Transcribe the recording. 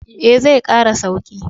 Eh, zai kara sauki.